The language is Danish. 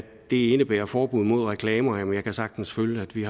indebærer forbud mod reklamer jeg kan sagtens følge at vi